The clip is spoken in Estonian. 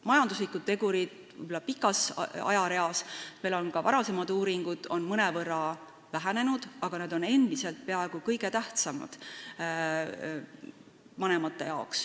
Majanduslike tegurite tähtsus võib-olla pikas ajareas on mõnevõrra vähenenud, aga need on vanematele endiselt peaaegu kõige tähtsamad.